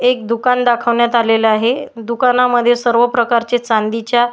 एक दुकान दाखवण्यात आलेला आहे दुकानांमध्ये सर्व प्रकारचे चांदीच्या --